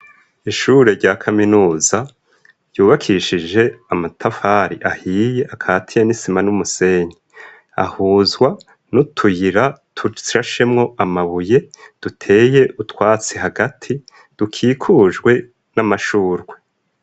Ishure rya kaminuza ryubakishije amatafari ahiye akatiye n'isima n'umusenyi ahuzwa n'utuyira tutsrashemwo amabuye duteye utwatsi hagati dukikujwe n'amashurwe.